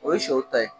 O ye sɛw ta ye